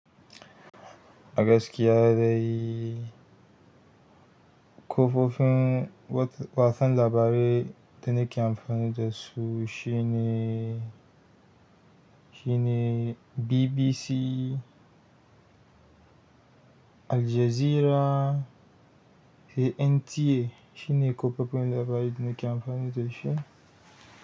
A gaskiya dai kafofin watsa labarai da nake anfani dasu shine BBC Al Jazeera, sai NTA shine kafofin labarai da ne ke amfani da shi.